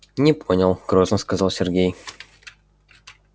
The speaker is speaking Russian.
не понял грозно сказал сергей